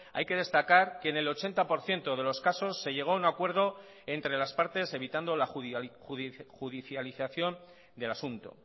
hay que destacar que en el ochenta por ciento de los casos se llegó a un acuerdo entre las partes evitando la judicialización del asunto